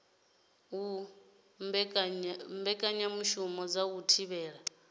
u mbekanyamushumo dza u thivhela